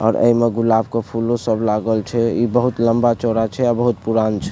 और एमे गुलाब के फूलो सब लागल छै इ बहुत लम्बा चौड़ा छै अ बहुत पुरान छै।